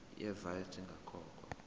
ye vat ingakakhokhwa